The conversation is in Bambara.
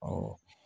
Awɔ